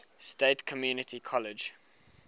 state community college